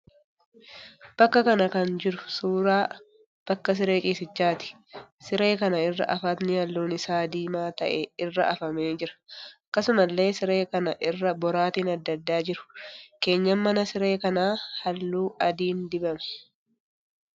Bakka kana kan jiru suuraa bakka siree ciisichaati. Siree kana irra hafatni halluun isaa diimaa ta'ee irra hafamee jira. Akkasumallee siree kana irra boraatiin adda addaa jiru. Keenyan mana siree kanaa halluu adiin dibame.